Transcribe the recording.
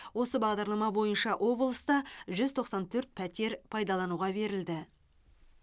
осы бағдарлама бойынша облыста жүз тоқсан төрт пәтер пайдалануға берілді